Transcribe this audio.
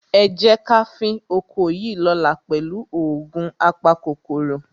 Ẹ jẹ́ ká fín oko yìí lọ́la pẹ̀lú òògun apakòkòrò.